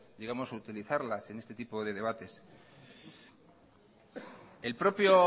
utilizarlas en este tipo de debates el propio